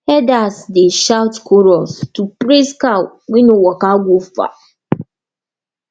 herders dey shout chorus to praise cow wey no waka go far